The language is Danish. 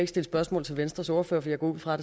stille spørgsmål til venstres ordfører for jeg går ud fra